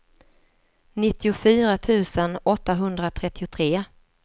nittiofyra tusen åttahundratrettiotre